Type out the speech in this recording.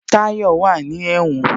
Tayọ wá ní ẹ̀wọ̀n